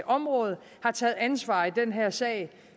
område har taget ansvar i den her sag og